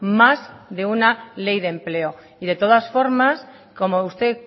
más de una ley de empleo y de todas formas como usted